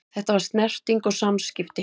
Þetta var snerting og samskipti.